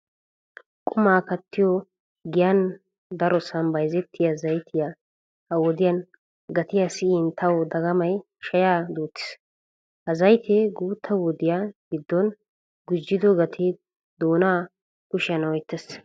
Qumma kattiyo giyan darossan bayzzettiya zayttiya ha'i wodiya gatiya siyin tawu dagamay shaya duutis! Ha zaytte guutta wodiya gidon gujjiddo gatte doona kushiyan oyttees!